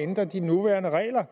at ændre de nuværende regler